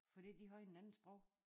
Fordi de har en anden sprog